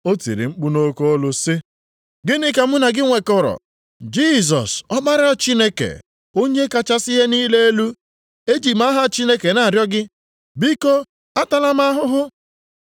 O tiri mkpu nʼoke olu sị, “Gịnị ka mụ na gị nwekọrọ, Jisọs, Ọkpara Chineke Onye kachasị ihe niile elu? Eji m aha Chineke na-arịọ gị, biko, atala m ahụhụ.”